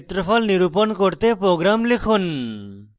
বর্গক্ষেত্রের ক্ষেত্রফল নিরুপণ করতে প্রোগ্রাম লিখুন